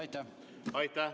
Aitäh!